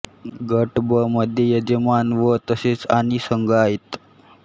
गट ब मध्ये यजमान व तसेच आणि संघ आहेत